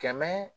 Kɛmɛ